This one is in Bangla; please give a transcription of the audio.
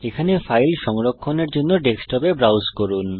এখানে ফাইল সংরক্ষণের জন্য ডেস্কটপে ব্রাউজ করুন